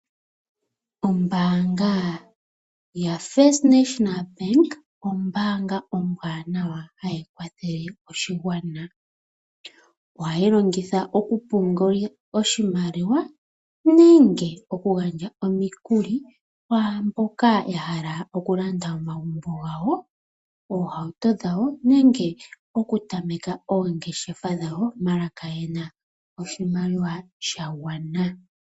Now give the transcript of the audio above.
Ombaanga yaFirst National Bank ombaanga ombwanawa hayi kwathele oshigwana. Ohayi longithwa okupungula oshimaliwa nenge okugandja omikuli kwaamboka ya hala okulanda omagumbo gawo, oohauto dhawo nenge okutameka oongeshefa dhawo ndele kayena oshimaliwa sha gwana.